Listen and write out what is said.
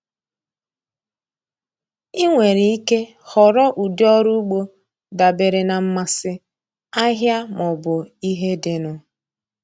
Ị nwere ike họrọ ụdị ọrụ ugbo dabere na mmasị, ahịa, ma ọ bụ ihe dịnụ.